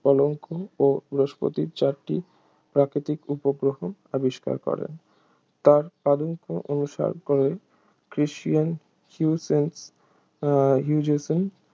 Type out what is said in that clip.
কলঙ্ক ও বৃহস্পতির চারটি প্রাকৃতিক উপগ্রহ আবিষ্কার করেন তাঁর পদাঙ্ক অনুসরণ করে ক্রিস্টিয়ান হিউসে আহ হিউজেনস